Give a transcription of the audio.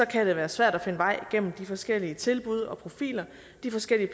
kan det være svært at finde vej gennem de forskellige tilbud og profiler de forskellige